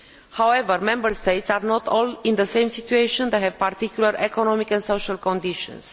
However, Member States are not all in the same situation they have particular economic and social conditions.